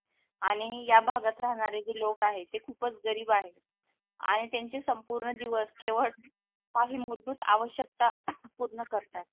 आणि या भागात राहणारे लोक आहे ते खूपच गरीब आहे आणि त्यांचे संपूर्ण दिवस केवळ काही मूलभूत आवश्यकता पूर्ण करतात.